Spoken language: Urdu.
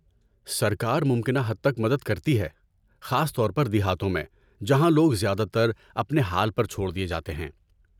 سرکار ممکنہ حد تک مدد کرتی ہے، خاص طور پر دیہاتوں میں، جہاں لوگ زیادہ تر اپنے حال پر چھوڑ دیے جاتے ہیں۔